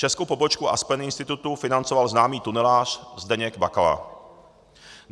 Českou pobočku Aspen Institutu financoval známý tunelář Zdeněk Bakala.